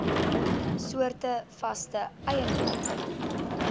soorte vaste eiendom